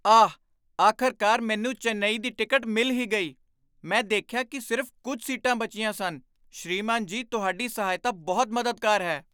ਆਹ! ਆਖ਼ਰਕਾਰ ਮੈਨੂੰ ਚੇਨਈ ਦੀ ਟਿਕਟ ਮਿਲ ਹੀ ਗਈ। ਮੈਂ ਦੇਖਿਆ ਕਿ ਸਿਰਫ਼ ਕੁੱਝ ਸੀਟਾਂ ਬਚੀਆਂ ਸਨ। ਸ੍ਰੀਮਾਨ ਜੀ ਤੁਹਾਡੀ ਸਹਾਇਤਾ ਬਹੁਤ ਮਦਦਗਾਰ ਹੈ।